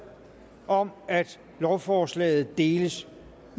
om at lovforslaget deles